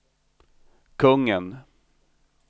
kungen